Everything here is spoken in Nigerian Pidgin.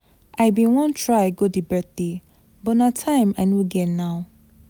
I bin wan try go the birthday but na time I no get now.